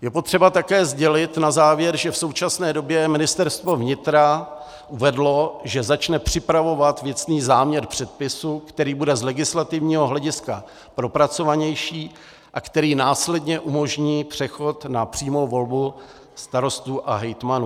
Je potřeba také sdělit na závěr, že v současné době Ministerstvo vnitra uvedlo, že začne připravovat věcný záměr předpisu, který bude z legislativního hlediska propracovanější a který následně umožní přechod na přímou volbu starostů a hejtmanů.